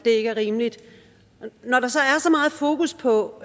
ikke er rimeligt når der så er så meget fokus på